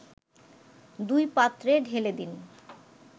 দুই পাত্রে ঢেলে দিন